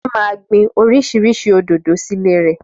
Fúnkẹ́ máa gbin oríṣiríṣi òdòdó sílé rẹ̀